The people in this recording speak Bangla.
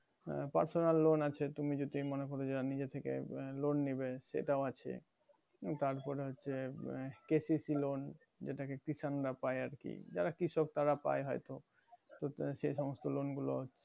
personal loan আছে তুমি যদি মনে করো নিজেথেকে loan নিবে সেটাও আছে তারপর হচ্ছে KCCloan যেটা কৃষান রা পাই আরকি যারা কৃষক তারা পাই আরকি তো তোমার হচ্ছে এই সমস্ত loan গুলো